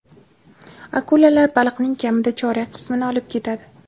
Akulalar baliqning kamida chorak qismini olib ketadi.